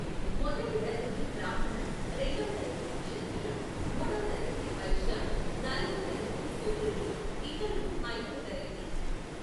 మొదటి తరగతి బ్రాహ్మణ, రెండవ తరగతి క్షత్రియ, మూడో తరగతి వైశ్య, నాల్గవ తరగతి శూద్రులు, ఇతరులు ఐదవ తరగతి.